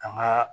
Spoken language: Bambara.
Ka n ka